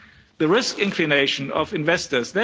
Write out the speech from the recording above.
The risk inclination of investors.